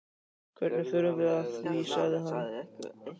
Hvernig förum við að því? sagði hann.